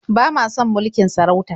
Ba ma son mulkin sarauta.